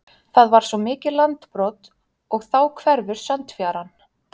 Það var svo mikið landbrot og þá hverfur sandfjaran.